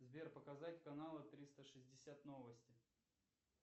сбер показать каналы триста шестьдесят новости